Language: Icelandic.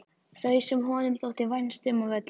Þau sem honum þótti vænst um af öllum.